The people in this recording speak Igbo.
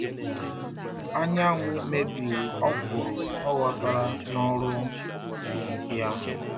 Anyanwụ mebiri ọkwụrụ ọghọtara n'ọrụ ya